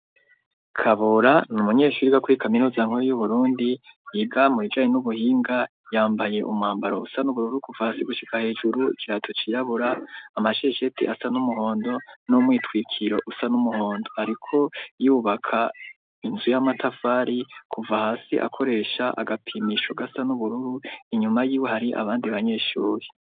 Kabura n’umunyeshuri gakuri kaminuza nkuru yu Burundi yiga mubijanye n'ubuhinga, yambaye umwambaro usa n'ubururu kuva hasi gushyika hejuru ikirato ciyabura amashesheti asa n'umuhondo n'umwitwikiro usa n'umuhondo, ariko yubaka inzu y'amatafari kuva hasi akoresha agapimisho gasa n'ubururu, inyuma y'iwe hari abandi banyeshuri.